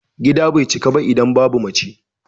Gida bai cika ba idan babu mace.